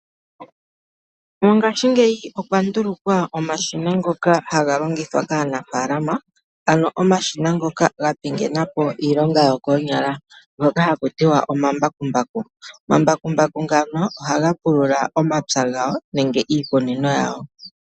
Mongaashingeyi okwa ndulukwa omashina ngoka haga longithwa kaanafaalama, ano omashina ngoka ga pingena po iilonga yokoonyala ngoka haku tiwa omambakumbaku. Omambakumbaku ngano ohaga pulula omapya gawo nenge iikunino yawo.